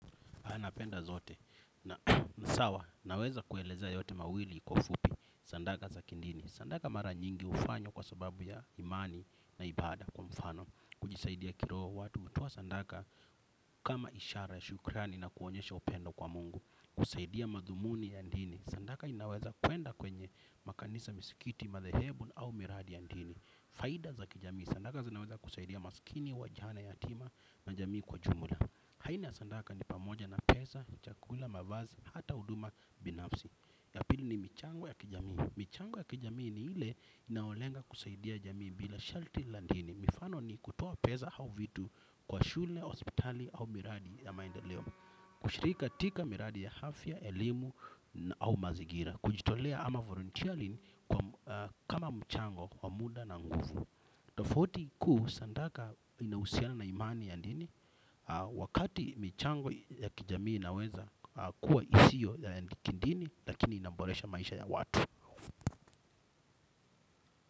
Napenda zote na ni sawa naweza kuelezea yote mawili kwa ufupi sadaka za kidini. Sadaka mara nyingi hufanywa kwa sababu ya imani na ibada kwa mfano. Kujisaidia kiroho watu. Hutoa sadaka kama ishara ya shukrani na kuonyesha upendo kwa mungu. Kusaidia madhumuni ya dini. Sadaka inaweza kuenda kwenye makanisa misikiti madhehebu au miradi ya dini. Faida za kijamii. Sadaka zinaweza kusaidia maskini wajane yatima na jamii kwa jumla. Aina ya sadaka ni pamoja na pesa, chakula, mavazi, hata huduma, binafsi. Ya pili ni michango ya kijamii. Michango ya kijamii ni ile inayolenga kusaidia jamii bila sharti la dini. Mifano ni kutoa pesa au vitu kwa shule, hospitali au miradi ya maendeleo. Kushiriki katika miradi ya afya, elimu au mazingira kujitolea ama volunteering kama mchango wa muda na nguvu. Tofauti kuu sadaka inahusiana na imani ya dini. Wakati michango ya kijamii inaweza kuwa isiyo ya kidini. Lakini inaboresha maisha ya watu.